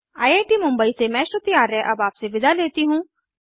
I I T Mumbai से मैं श्रुति आर्य अब आपसे विदा लेती हूँ